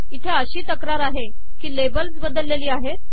इथे अशी तक्रार आहे कि लेबल्स बदललेली आहेत